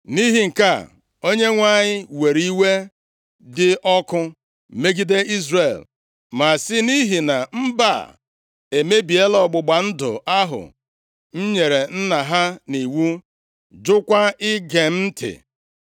Nʼihi nke a, Onyenwe anyị were iwe dị ọkụ megide Izrel, ma sị, “Nʼihi na mba a emebiela ọgbụgba ndụ ahụ m nyere nna ha nʼiwu, jụkwa ige m ntị,